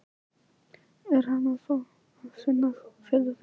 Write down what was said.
Er hann að fá að finna fyrir því?